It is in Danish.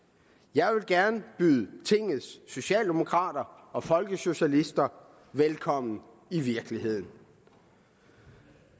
jeg vil gerne byde tingets socialdemokrater og folkesocialister velkommen i virkeligheden